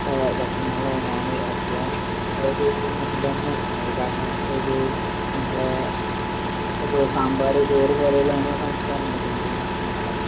A ഭക്ഷണങ്ങളാണ് ഞാന് എപ്പഴും അതായതു മുൻഗണന കൊടുക്കുന്നത് കാരണം ഒരു നമ്മളെ സാമ്പാറ് ചോറുപോലെയുള്ള നമ്മുടെ സംസ്കാരം ഉണ്ടല്ലോ നിലവിലുള്ള സംസ്കാരം